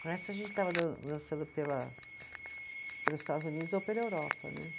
a gente estava dan dançando pela, pelos Estados Unidos ou pela Europa, né?